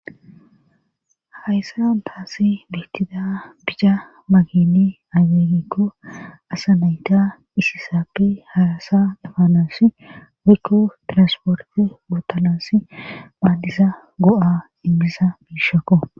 hayssa antaasi beettida bica makini ageegikko asanayta isi saappe harasa dafanaosi wikko tirasporte gootanasi phaandiza go7a immisa biishakko